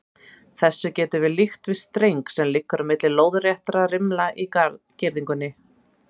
Þessu getum við líkt við streng sem liggur á milli lóðréttra rimla í girðingu.